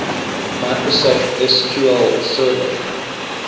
microsoft sql server